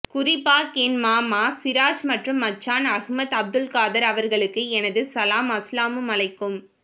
குரிபாக் என் மாமா சிராஜ் மற்றும் மச்சான் அஹ்மத் அப்துல்காதர் அவர்களுக்கு எனது சலாம் அஸ்ஸலாமு அழைக்கும்